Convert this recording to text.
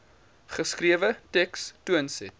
geskrewe teks toonset